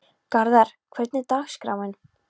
Garðar, hvernig er dagskráin?